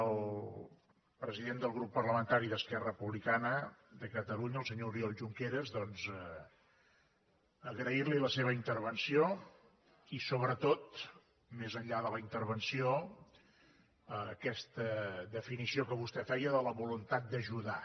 al president del grup parlamentari d’esquerra republicana de catalunya el senyor oriol junqueras doncs agrair li la seva intervenció i sobretot més enllà de la intervenció aquesta definició que vostè feia de la voluntat d’ajudar